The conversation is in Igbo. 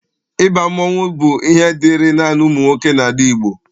Ịba mmọnwụ bụ ihe dịịrị naanị ụmụ nwoke n'ala Igbo.